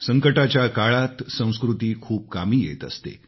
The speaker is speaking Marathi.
संकटाच्या काळात संस्कृती खूप कामी येत असते